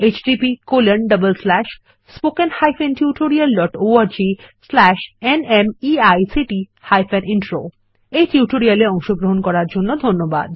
httpspoken tutorialorgNMEICT Intro এই tutorial এ অংশগ্রহন করার জন্য ধন্যবাদ